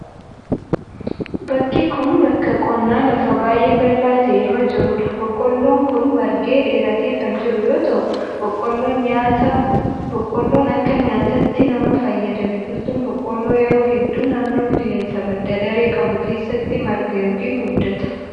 Bakki kun, bakka qonnaa lafa baay'ee bal'aa ta'e irra jiruu dha. Boqoolloon kun margee, dheeratee kan jiru yoo ta'u, boqqoolloon akka nyaataatti nama fayyada. Biqiltuun boqqoolloo yeroo hedduu naannoo qilleensa badda daree qabu keessatti marga yokin guddata.